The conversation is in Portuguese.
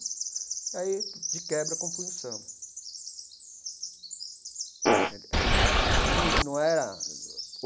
E aí, de quebra, compunha o samba né ele era absoluta e não não é a.